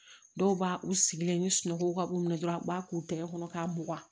Dɔw b'a u sigilen ni sunɔgɔ ka b'u minɛ dɔrɔn u b'a k'u tɛgɛ kɔnɔ k'a mugan